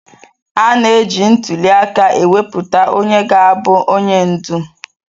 A na-eji ntuli aka ewepụta onye ga-abụ onye ndu.